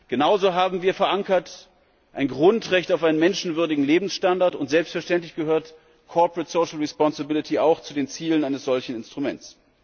Genauso haben wir ein Grundrecht auf einen menschenwürdigen Lebensstandard verankert, und selbstverständlich gehört corporate social responsibility auch zu den Zielen eines solchen Instruments.